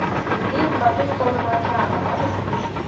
фильм по ту сторону океана можешь включить